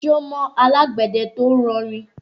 Ṣé o mọ alágbẹ̀dẹ tó ń rọ rìn?